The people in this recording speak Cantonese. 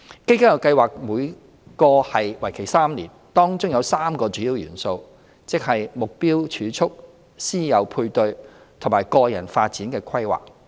基金計劃每個為期3年，當中有3個主要元素，即"目標儲蓄"、"師友配對"和"個人發展規劃"。